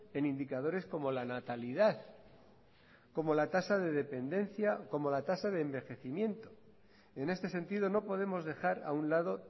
en indicadores como la natalidad como la tasa de dependencia como la tasa de envejecimiento en este sentido no podemos dejar a un lado